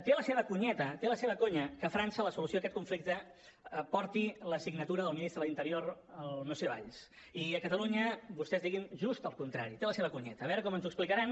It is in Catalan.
té la seva conyeta té la seva conya que a frança la solució a aquest conflicte porti la signatura del ministre de l’interior el monsieur valls i a catalunya vostès diguin just el contrari té la seva conyeta a veure com ens ho explicaran